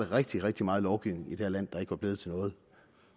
rigtig rigtig meget lovgivning i det her land der ikke var blevet til noget